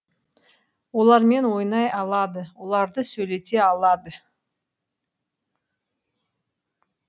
олармен ойнай алады оларды сөйлете алады